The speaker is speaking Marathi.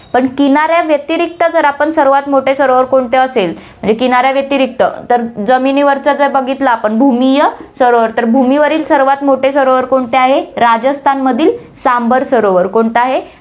पण किनाऱ्या व्यतिरिक्त जर आपण सर्वात मोठे सरोवर कोणते असेल, म्हणजे किनाऱ्या व्यतिरिक्त तर जमिनीवरचा जर बघितलं आपण भूमिय सरोवर, तर भूमीवरील सर्वात मोठे सरोवर कोणते आहे, राजस्थानमधील सांभर सरोवर कोणतं आहे,